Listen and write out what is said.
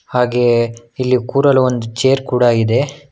ಹಾಗೆ ಇಲ್ಲಿ ಕೂರಲು ಒಂದು ಚೇರ್ ಕೂಡ ಇದೆ.